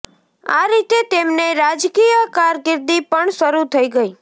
આ રીતે તેમની રાજકીય કારકિર્દી પણ શરૂ થઈ ગઈ